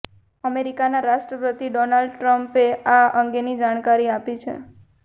અમેરિકાના રાષ્ટ્રપતિ ડોનાલ્ડ ટ્મ્પે આ અંગેની જાણકારી આપી છે